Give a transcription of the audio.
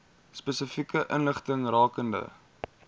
spesifieke inligting rakende